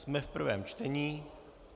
Jsme v prvém čtení.